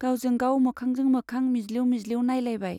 गावजों गाव मोखांजों मोखां मिज्लिउ मिज्लिउ नाइलायबाय।